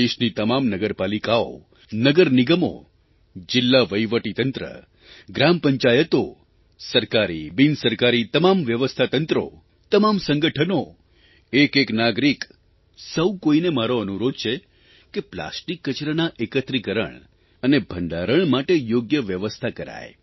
દેશની તમામ નગરપાલિકાઓ નગરનિગમો જિલ્લાવહિવટીતંત્ર ગ્રામપંચાયતો સરકારીબિનસરકારી તમામ વ્યવસ્થાતંત્રો તમામ સંગઠનો એકેએક નાગરિક સૌ કોઇને મારો અનુરોધ છે કે પ્લાસ્ટિક કચરાના એકત્રિકરણ અને ભંડારણ માટે યોગ્ય વ્યવસ્થા કરાય